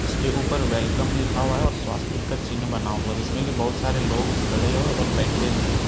उसके ऊपर वेलकम लिखा हुआ है और स्वास्तिक का चिन्ह बना हुआ जिसमें की बहुत सारे लोग खड़े हुए और बैठे भी हैं।